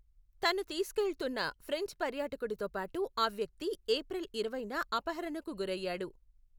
తను తీసుకెళ్తున్న ఫ్రెంచ్ పర్యాటకుడితో పాటు ఆ వ్యక్తి ఏప్రిల్ ఇరవైన అపహరణకు గురయ్యాడు.